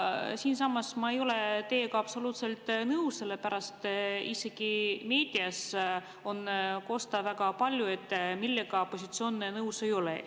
Aga ma ei ole teiega absoluutselt nõus, sellepärast et isegi meedias on väga palju kosta, millega siis opositsioon nõus ei ole.